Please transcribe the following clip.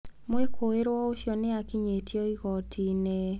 Mwĩkũĩrwo ũcio nĩ akinyĩtio igooti-inĩ.